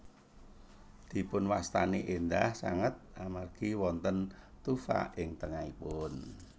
Dipunwastani éndah sanget amargi wonten tufa ing tengahipun